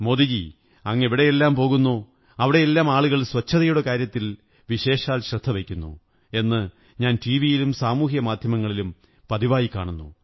മോദിജീ അങ്ങ് എവിടെയെല്ലാം പോകുന്നോ അവിടെയെല്ലാം ആളുകൾ സ്വച്ഛതയുടെ കാര്യത്തിൽ വിശേഷാൽ ശ്രദ്ധ വയ്ക്കുന്നു എന്ന് ഞാൻ ടിവിയിലും സാമുഹികമാധ്യമങ്ങളിലും പതിവായി കാണുന്നു